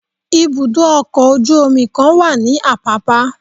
ibudọ ọkọ ojú omí kan wa ní apapa.